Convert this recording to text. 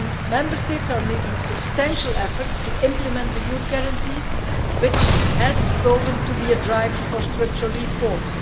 Member States are making substantial efforts to implement the Youth Guarantee, which has proven to be a driver for structural reforms.